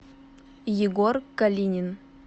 егор калинин